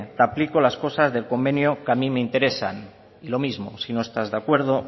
te aplico las cosas del convenio que a mí me interesan y lo mismo si no estás de acuerdo